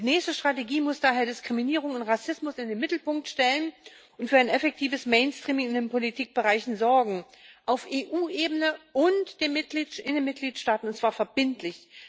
Die nächste Strategie muss daher Diskriminierung und Rassismus in den Mittelpunkt stellen und für ein effektives Mainstreaming in den Politikbereichen sorgen, auf EU Ebene und in den Mitgliedstaaten, und zwar verbindlich.